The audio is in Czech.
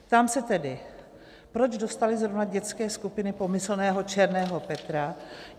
Ptám se tedy, proč dostaly zrovna dětské skupiny pomyslného Černého Petra.